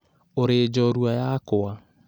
"Ũrĩ njorua yakwa!